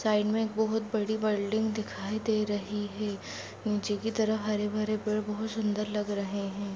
Side मे बहुत बड़ी बिल्डिंग दिखाई दे रही है नीचे की तरफ हरे भरे पेड़ बहुत सुन्दर लग रहे है।